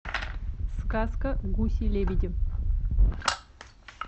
сказка гуси лебеди